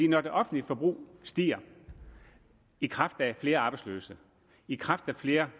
når det offentlige forbrug stiger i kraft af flere arbejdsløse i kraft af flere